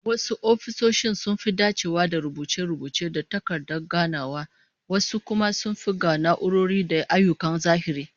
Wasu ofisoshin sun dacewa da rubuce-rubuce da takardu da ganawa, wasu kuma sun fi ga na'urori da ayyukan zahiri